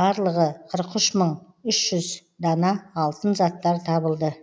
барлығы қырық үш мың үш жүз дана алтын заттар табылды